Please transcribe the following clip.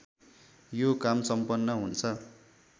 यो काम सम्पन्न हुन्छ